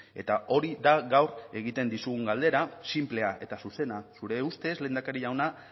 eta hori da gaur egiten dizugun galdera sinplea eta zuzena zure ustez lehendakaria jauna